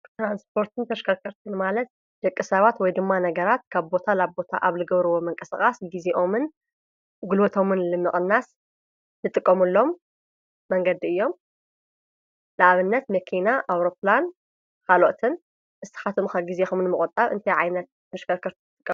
ትራንስፖርትን ተሽከርከርቲን ማለት ደቂ ሰባት ወይ ድማ ነገራት ካብ ቦታ ላብ ቦታ ኣብ ልገብርዎ ምንቅስቓስ ጊዜኦምን ጉልበቶምን ልምቕናስ ልጥቀመሎም መንገዲ እዮም፡፡ ልኣብነት መከና፣ ኣውሮፕላን ካልኦትን፡፡ ንስኻትኩም ከ ጊዜኹም ንምቑጣብ እንታይ ዓይነት ተሽከርከርቲ ትጥቀሙ?